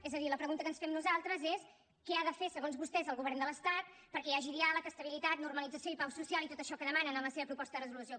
és a dir la pregunta que ens fem nosaltres és què ha de fer segons vostès el govern de l’estat perquè hi hagi diàleg estabilitat normalització i pau social i tot això que demanen en la seva proposta de resolució